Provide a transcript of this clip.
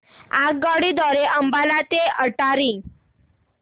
आगगाडी द्वारे अंबाला ते अटारी